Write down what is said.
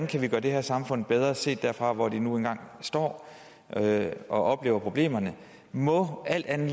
kan gøre det her samfund bedre set derfra hvor de nu engang står og oplever problemerne må alt andet